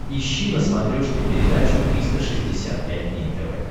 ищи на смотрешке передачу триста шестьдесят пять дней тв